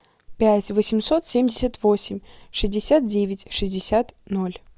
пять восемьсот семьдесят восемь шестьдесят девять шестьдесят ноль